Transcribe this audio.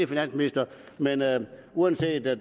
finansministeren men uanset at